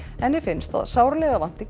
henni finnst að sárlega vanti